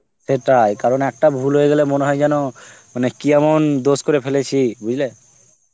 সেটাই, কারণ, একটা ভুল হয়ে গেলে মনে হয় যেন আঁ কি এমন দোস করে ফেলেছি বুঝলে